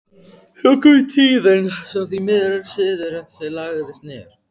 Svo kom tíðin sem því miður siður þessi lagðist niður.